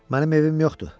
Mənim evim yoxdur.